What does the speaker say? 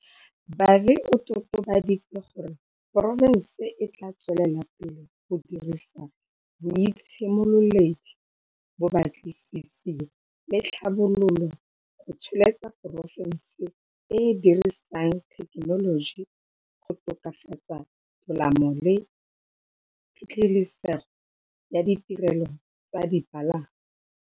Vadi o totobaditse gore porofense e tla tswelela pele go dirisa boitshimololedi, bobatlisisi le tlhabololo go tsholetsa porofense e e dirisang thekenoloji go tokafatsa tolamo le phitlhelesego ya ditirelo tsa dipalangwa.